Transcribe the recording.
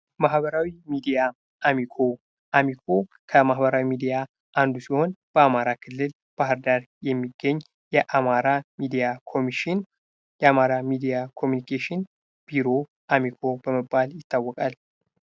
ማህበራዊ ሚዲያ አሚኮ አሚኮ ከማህበራዊ ሚዲያ አንዱ ሲሆን በአማራ ክልል ባህር ዳር የሚገኝ የአማራ ሚድያ ኮሚሽን የአማራ ሚዲያ ኮሚኒኬሽን ቢሮ አሚኮ በመባል ይታወቃል።